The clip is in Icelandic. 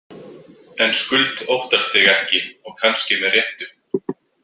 En Skuld óttast þig ekki og kannski með réttu.